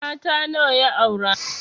Mata nawa ya aure?